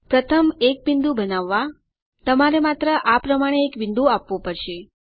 પ્રથમ એક બિંદુ બનાવવા તમારે માત્ર આ પ્રમાણે એક બિંદુ આપવું પડશે